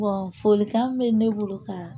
folikan bɛ ne bolo ka